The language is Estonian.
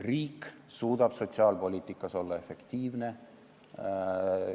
Riik suudab sotsiaalpoliitikas olla efektiivne.